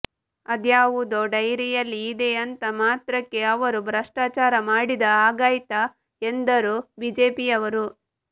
ಅದ್ಯಾವುದೋ ಡೈರಿಯಲ್ಲಿ ಇದೆ ಅಂದ ಮಾತ್ರಕ್ಕೆ ಅವರು ಭ್ರಷ್ಟಾಚಾರ ಮಾಡಿದ ಹಾಗಾಯ್ತ ಎಂದರು ಬಿಜೆಪಿಯವರು